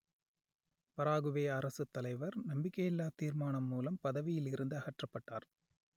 Paraguay அரசுத்தலைவர் நம்பிக்கையில்லாத் தீர்மானம் மூலம் பதவியில் இருந்து அகற்றப்பட்டார்